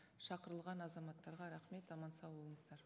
шақырылған азаматтарға рахмет аман сау болыңыздар